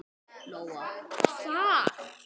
Lóa: Hvar?